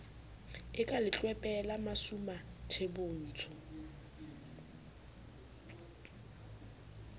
e ka letlwepe la masumuathebotsho